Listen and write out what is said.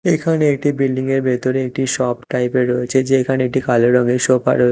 এখানে একটি বিল্ডিং -এর ভেতরে একটি শপ টাইপ -এর রয়েছে যেখানে একটি কালো রঙের সোফা রয়ে--